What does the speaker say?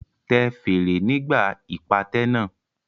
Tẹ fèrè nígbà ìpàtẹ náà.